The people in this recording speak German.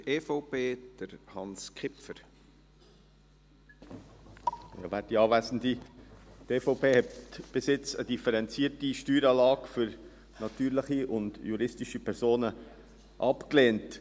Die EVP hat bis jetzt eine differenzierte Steueranlage für natürliche und juristische Personen abgelehnt.